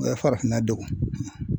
O ye farafinna degun.